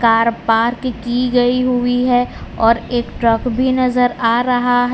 Car park की गई हुई है और एक ट्रक भी नजर आ रहा है।